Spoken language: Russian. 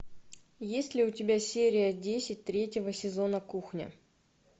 есть ли у тебя серия десять третьего сезона кухня